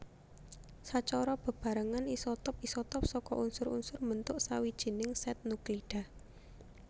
Sacara bebarengan isotop isotop saka unsur unsur mbentuk sawijining sèt nuklida